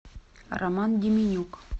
роман деменюк